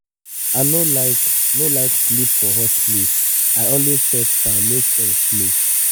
i no like no like sleep for hot place i always set fan make air flow.